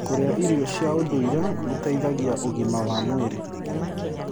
Kũrĩa irio cia ũndũĩre gũteĩthagĩa ũgima wa mwĩrĩ